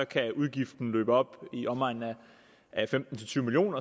kan udgiften løbe op i omegnen af femten til tyve million